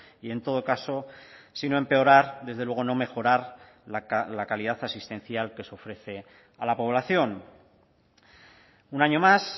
y en todo caso sino empeorar desde luego no mejorar la calidad asistencial que se ofrece a la población un año más